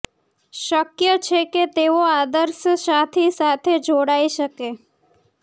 શક્ય છે કે તેઓ આદર્શ સાથી સાથે જોડાઈ શકે